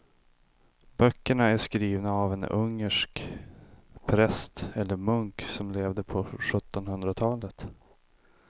Böckerna är skrivna av en ungersk präst eller munk som levde på sjuttonhundratalet.